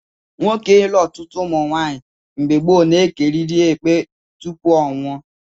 Nwoke ilu ọtụtụ ụmụnwaanyị mgbe gboo na-ekerịrị ekpe tupu ọ nwụọ